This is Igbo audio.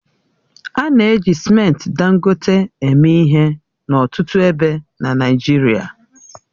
A na-eji simenti Dangote eme ihe n'ọtụtụ ebe n'Naịjirịa